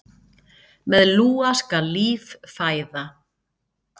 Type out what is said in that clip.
Með lúa skal líf fæða.